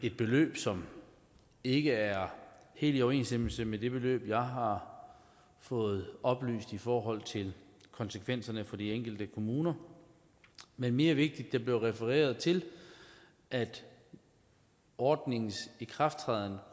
et beløb som ikke er helt i overensstemmelse med det beløb jeg har fået oplyst i forhold til konsekvenserne for de enkelte kommuner men mere vigtigt blev der refereret til at ordningens ikrafttræden